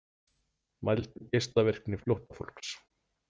Mældu geislavirkni flóttafólks